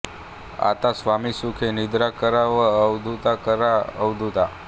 आतां स्वामी सुखे निद्रा करा अवधूता करा अवधूता